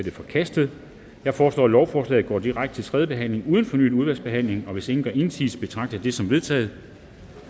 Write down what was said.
er forkastet jeg foreslår at lovforslaget går direkte til tredje behandling uden fornyet udvalgsbehandling hvis ingen gør indsigelse betragter jeg det som vedtaget